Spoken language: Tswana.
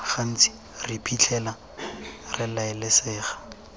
gantsi re iphitlhela re raelesega